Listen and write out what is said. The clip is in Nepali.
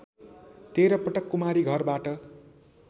१३ पटक कुमारीघरबाट